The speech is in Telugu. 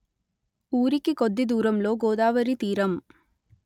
ఊరికి కొద్ది దూరంలో గోదావరి తీరం